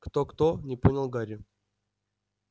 кто-кто не понял гарри